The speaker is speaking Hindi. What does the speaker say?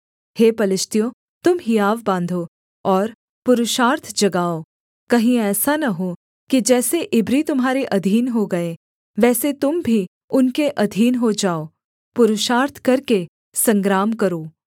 हे पलिश्तियों तुम हियाव बाँधो और पुरुषार्थ जगाओ कहीं ऐसा न हो कि जैसे इब्री तुम्हारे अधीन हो गए वैसे तुम भी उनके अधीन हो जाओ पुरुषार्थ करके संग्राम करो